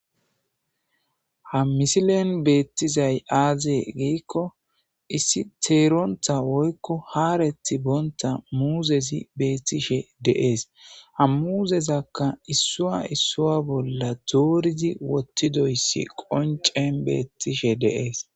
ha misilen beettizay aazee giikko issi teeronta woykko haareti boonta muuzezi beettishe deees ha muuzezakka issua issua bolla dooridi wottidoyssi qoncen beettishe deees